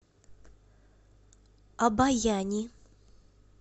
обояни